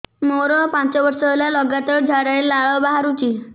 ମୋରୋ ପାଞ୍ଚ ବର୍ଷ ହେଲା ଲଗାତାର ଝାଡ଼ାରେ ଲାଳ ବାହାରୁଚି